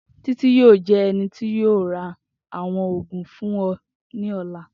Titi yoo jẹ ẹni ti yoo ra awọn oogun fun ọ ni ọla.